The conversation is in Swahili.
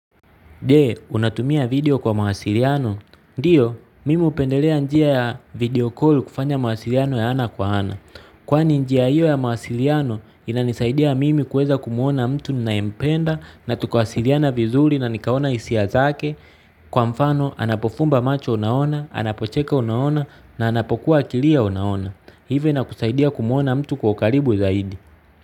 Je, unatumia video kwa mawasiliano? Ndio, mimi hupendelea njia ya video call kufanya mawasiliano ya ana kwa ana. Kwani njia hiyo ya mawasiliano, inanisaidia mimi kuweza kumwona mtu ninayempenda na tukawasiliana vizuri na nikaona hisia zake. Kwa mfano, anapofumba macho unaona, anapocheka unaona na anapokuwa akilia unaona. Hivyo inakusaidia kumwona mtu kwa ukaribu zaidi.